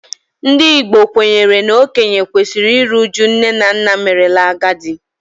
Ndị Igbo kwenyere na okenye kwesịrị iru uju nne na nna merela agadi